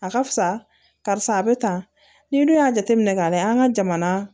A ka fisa karisa a bɛ tan ni dun y'a jateminɛ k'a lajɛ an ka jamana